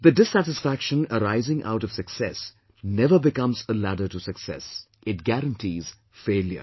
The dissatisfaction arising out of success never becomes a ladder to success; it guarantees failure